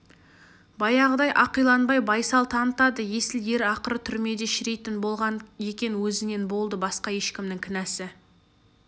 баяғыдай ақиланбай байсал танытады есіл ер ақыры түрмеде шіритін болған екен өзінен болды басқа ешкімнің кінәсі